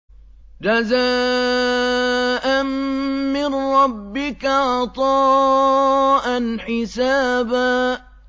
جَزَاءً مِّن رَّبِّكَ عَطَاءً حِسَابًا